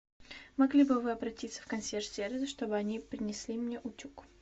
могли бы вы обратиться в консьерж сервис чтобы они принесли мне утюг